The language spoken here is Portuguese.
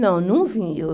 Não, não vim. Eu